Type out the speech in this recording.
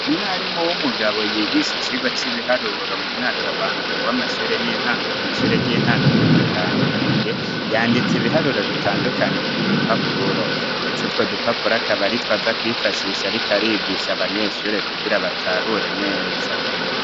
Umwarimu w'umugabo yigisha icigwa c'ibiharuro mu mwaka wa mbere w'amashure y'intango kw'ishyure ry'intango ryo mu Kamenge. Yanditse ibiharuro bitandukanye k'udupapuro, ndetse utwo dupapuro akaba aritwo aza kwifashisha ariko arigisha abanyeshure kugira batahure neza.